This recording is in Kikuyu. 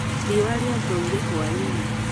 Riũa rĩathũire hwainĩ